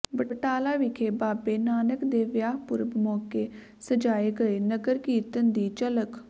ਬਟਾਲਾ ਵਿਖੇ ਬਾਬੇ ਨਾਨਕ ਦੇ ਵਿਆਹ ਪੁਰਬ ਮੌਕੇ ਸਜਾਏ ਗਏ ਨਗਰ ਕੀਰਤਨ ਦੀ ਝਲਕ